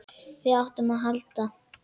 Hvað áttum við að halda?